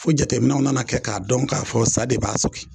Fo jateminɛw nana kɛ k'a dɔn k'a fɔ sa de b'a sɔgin